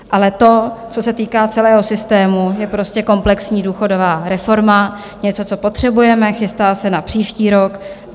Ale to, co se týká celého systému, je prostě komplexní důchodová reforma, něco, co potřebujeme, chystá se na příští rok.